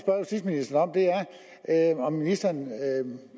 at om ministeren